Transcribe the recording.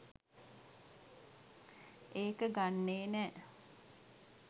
ඒක ගන්නෙ නෑ